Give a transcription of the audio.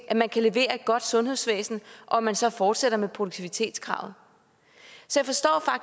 at man kan levere et godt sundhedsvæsen og at man så fortsætter med produktivitetskravet så